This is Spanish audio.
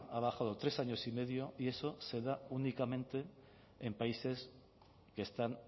ha bajado tres años y medio y eso se da únicamente en países que están